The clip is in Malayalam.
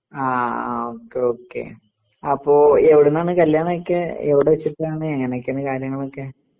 ആ ഓക്കേ ഓക്കേ. അപ്പൊ എവിടുന്നാണ് കല്യാണോക്കെ എവിടെ വെച്ചിട്ടാണ് എങ്ങനെയൊക്കെയാണ് കാര്യങ്ങളൊക്കെ?